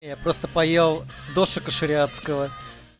просто поел дошика шариатского